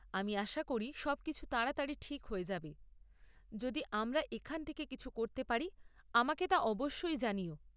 আমি আশা করি সবকিছু তাড়াতাড়ি ঠিক হয়ে যাবে; যদি আমরা এখান থেকে কিছু করতে পারি, আমাকে তা অবশ্যই জানিও।